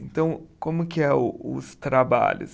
Então, como que é os trabalhos?